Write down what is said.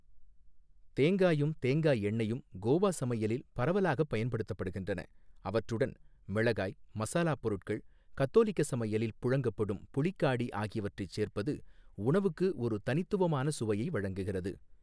தேங்காயும் தேங்காய் எண்ணெயும் கோவா சமையலில் பரவலாகப் பயன்படுத்தப்படுகின்றன, அவற்றுடன் மிளகாய், மசாலாப் பொருட்கள், கத்தோலிக்க சமையலில் புழங்கப்படும் புளிக்காடி ஆகியவற்றைச் சேர்ப்பது உணவுக்கு ஒரு தனித்துவமான சுவையை வழங்குகிறது.